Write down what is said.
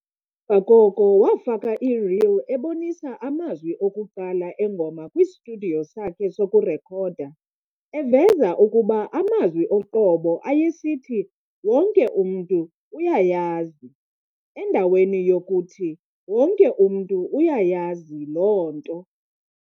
mva koko wafaka ireel ebonisa amazwi okuqala engoma kwistudiyo sakhe sokurekhoda, eveza ukuba amazwi oqobo ayesithi "wonke umntu uyayazi" endaweni yokuthi "wonke umntu uyayazi loo nto".